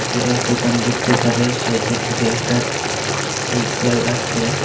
Xerox দোকান দেখতে পারা যায় সাইডের দিকে একটা সাইকেল আছে।